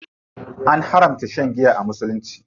An haramta shan giya a musulunci.